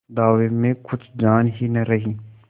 दावे में कुछ जान ही न रही